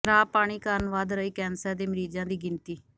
ਖਰਾਬ ਪਾਣੀ ਕਾਰਨ ਵੱਧ ਰਹੀ ਕੈਂਸਰ ਦੇ ਮਰੀਜ਼ਾਂ ਦੀ ਗਿਣਤੀ